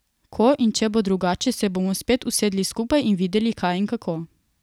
Ko in če bo drugače, se bomo spet usedli skupaj in videli, kaj in kako.